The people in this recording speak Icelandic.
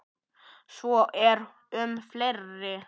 Svo er um fleiri.